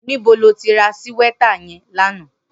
Nibó ló ti rà síwètá yèn lànã?